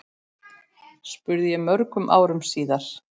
spurði ég mörgum árum síðar.